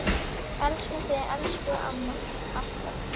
Elskum þig, elsku amma, alltaf.